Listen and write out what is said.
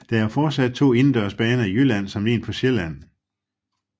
Der er fortsat to indendørs baner i Jylland samt en på Sjælland